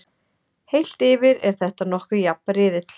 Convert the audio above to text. Heilt yfir er þetta nokkuð jafn riðill.